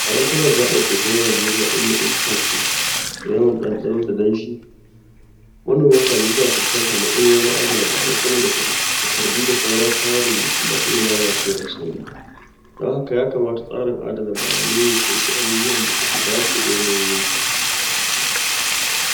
A yankunan gaɓar teku na Najeriya inda iska ke ce da yawan ɗanɗano da danshi, manoman kaji na suna fuskantar matsaloli wajen adana bayanai saboda takardu da sauran kayan rubutu na iya lalacewa da sauri. Dan haka ya kamata tsarin adana bayanai ya kunshi abubuwan da suka dace da yanayi yankin.